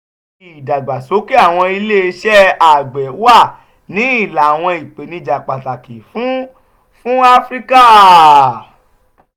" ìdàgbàsókè àwọn iléeṣẹ́ àgbẹ̀ wà ní ìlà àwọn ìpèníjà pàtàkì fún fún áfíríkà.